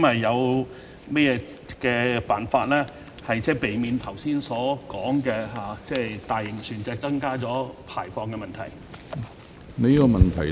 有甚麼辦法可避免剛才所說大型船隻增加排放的問題？